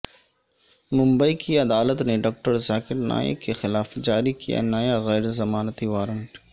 ممبئی کی عدالت نے ڈاکٹر ذاکر نائیک کے خلاف جاری کیا نیا غیر ضمانتی وارنٹ